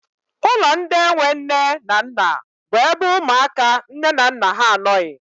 Ụlọ ndị enwe nne na nna bụ ebe ụmụaka nne na nna ha anọghị.